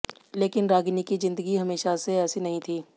लेकिन रागिनी की जिंदगी हमेशा से ऐसी नहीं थी